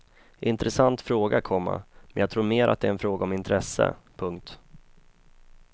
Intressant fråga, komma men jag tror mer att det är en fråga om intresse. punkt